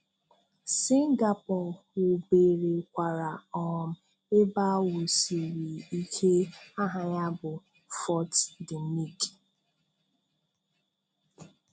Singapore wuberekwara um ebe a wusiri ike aha ya bụ "Fort De Nick".